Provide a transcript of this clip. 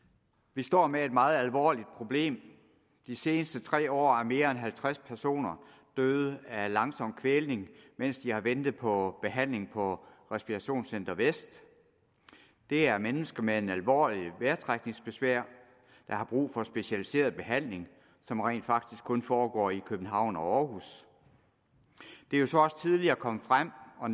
vi står med et meget alvorligt problem de seneste tre år er mere end halvtreds personer døde af langsom kvælning mens de har ventet på behandling på respirationscenter vest det er mennesker med alvorligt vejrtrækningsbesvær der har brug for specialiseret behandling som rent faktisk kun foregår i københavn og århus det er jo så også tidligere kommet frem og